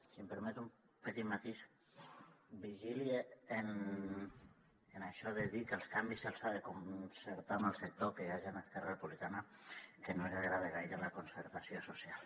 si em permet un petit matís vigili amb això de dir que els canvis se’ls ha de concertar amb el sector que hi ha gent a esquerra republicana que no els agrada gaire la concertació social